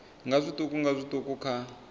nga zwiṱuku nga zwiṱuku kha